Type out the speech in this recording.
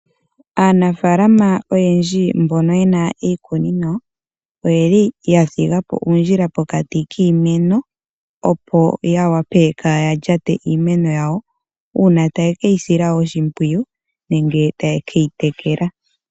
Aanafalama oyendji mbono yena iikunino oyeli yadhigapo uundjila pokati kiimeno opo yawape kayalyate iimeno yawo uuna taye ke yisila oshipwiyu nenge takeyi tekela.